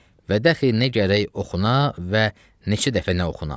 Və daxil nə gərək oxuna və neçə dəfə nə oxuna?